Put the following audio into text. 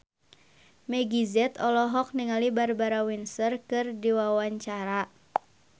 Meggie Z olohok ningali Barbara Windsor keur diwawancara